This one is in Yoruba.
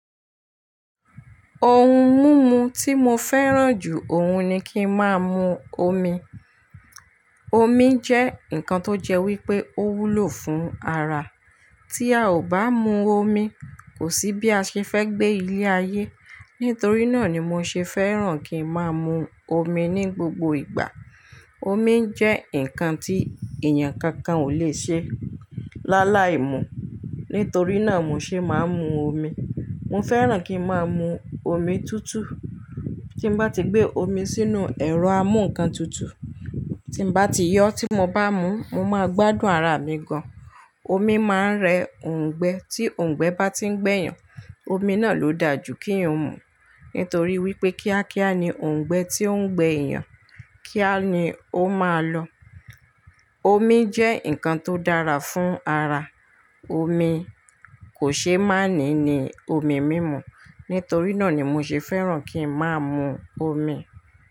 Ohun mímu tí mo fẹ́ràn jù ọ̀hun ni kí n máa mu omi. Omi jẹ́ nǹkan tó jẹ́ wípé ó wúlò fún ara. Tí a ò bá mu omi, kò sí bí a ṣe fẹ́ gbé ilé ayé. Nítorí náà ni mo ṣe fẹ́ràn kí n máa mu omi ní gbogbo ìgbà. Omi jẹ́ nǹkan tí èèyàn kankan ò lè ṣe láàlái mú, nítorí náà mo ṣe máa ń mu omi. Mo fẹ́ràn kí ń máa mu omi tútù. Tí mo bá ti gbé omi sínú ẹ̀rọ amúǹkan tutù, tí mo bá ti yọ tí mo bá mú, mo máa gbádùn ara mi gan. Omi máa ń rẹ òǹgbẹ, tí òǹgbẹ bá tí ń gbẹ́ èèyàn, omi náà ló da jú kí òun mú, nítorí wípé kíákíá ni òǹgbẹ tí ó ń gbẹ́ èèyàn, kíá ni ó máa lọ. Omi jẹ́ nǹkan tó dára fún ara. Omi kò ṣe má ní ní omi mímu, nítorí náà ni mo ṣe fẹ́ràn kí ń máa mu omi.